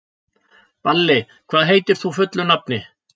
Balli, hvað heitir þú fullu nafni?